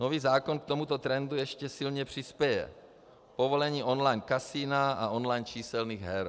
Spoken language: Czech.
Nový zákon k tomuto trendu ještě silně přispěje povolením online kasina a online číselných her.